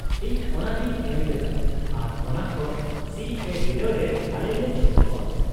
-ᱤᱧ ᱚᱱᱟᱨᱮᱧ ᱮᱢᱞᱮᱫᱟ ᱟᱨ ᱚᱱᱟ ᱠᱷᱚᱱ ᱥᱤᱹ ᱮ ᱵᱤᱰᱟᱹᱣ ᱨᱮ ᱟᱞᱮ ᱞᱮ ᱡᱷᱠᱩᱜᱼᱟ ᱾